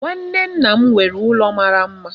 Nwanne nna m nwere ụlọ mara mma.